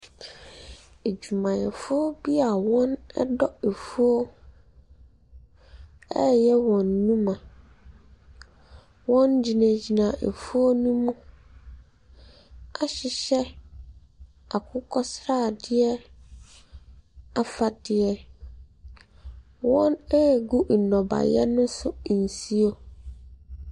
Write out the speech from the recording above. Adwumayɛfo bi a wɔdɔ afuo reyɛ nnwuma. Wɔgyinagyina afuo no mu ahyehyɛ akokɔsradeɛ afadeɛ. Wɔregu nnɔbaeɛ no so nsuo.